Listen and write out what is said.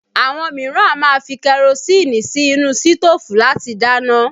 Àwọn mìíràn a máa fi kerosinni sí inú sitofu láti dáná